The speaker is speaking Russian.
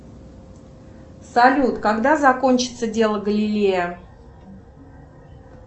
салют когда закончится дело галилея